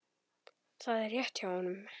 Það er rétt hjá honum.